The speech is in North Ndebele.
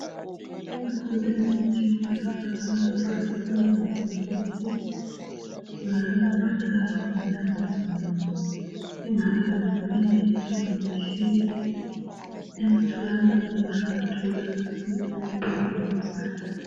Ikhona imithi yokwelapha abantwana abangezwa kuhle. Kumbe abantwana abagula umzimba wonke, kungabe kumbe ulimele, kumbe utshile. Emtholampilo bayaluthola usizo olumangalisayo.